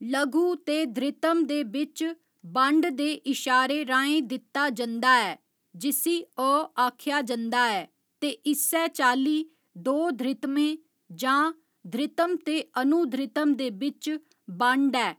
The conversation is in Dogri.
लघु ते धृतम दे बिच्च बंड दे इशारे राहें दित्ता जंदा ऐ, जिसी अ आखेआ जंदा ऐ, ते इस्सै चाल्ली दो धृतमें जां धृतम ते अनुधृतम दे बिच्च बंड ऐ।